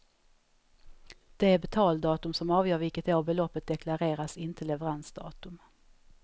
Det är betaldatum som avgör vilket år beloppet deklareras, inte leveransdatum.